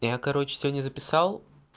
я короче сегодня записал